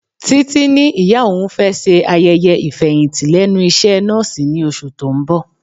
Títí ní ìyá òun fẹ́ ṣe ayẹyẹ ifeyinti lẹ́nu iṣẹ́ nọ́ọ̀sì ní oṣù tó ń bọ̀.